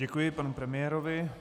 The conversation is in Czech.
Děkuji panu premiérovi.